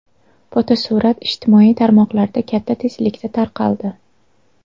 Fotosurat ijtimoiy tarmoqlarda katta tezlikda tarqaldi.